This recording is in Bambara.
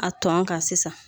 A tɔn kan sisan